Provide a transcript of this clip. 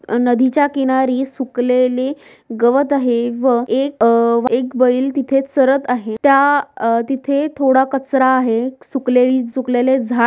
अ- नदीच्या किनारी सुकलेली गवत आहे व एक अ- एक बैल तिथे चरत आहे त्या तिथे थोडा कचरा आहे. सुकलेली सुकलेले झाड--